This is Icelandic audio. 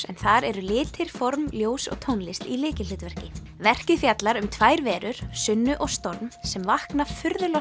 en þar eru litir formaður ljós og tónlist í lykilhlutverki verkið fjallar um tvær verur Sunnu og storm sem vakna